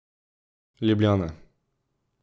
Ljubljana.